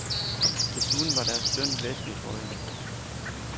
Desuden var deres løn væsentligt højere.